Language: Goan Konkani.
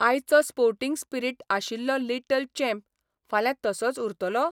आयचो स्पोर्टिंग स्पिरिट आशिल्लो लिटल चॅम्प फाल्यां तसोच उरतलो?